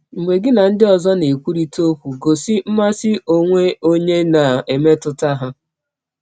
Mgbe gị na ndị ọzọ na - ekwụrịta ọkwụ, gọsi mmasị ọnwe ọnye ná mmetụta ha.